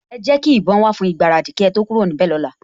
Ẹ jẹ́ kí ìbọn wà fún ìgbáradì kí ẹ tó kúrò níbẹ̀ lọ́la